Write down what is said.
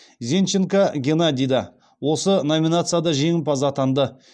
зенченко геннадий да осы номинацияда жеңімпаз атанды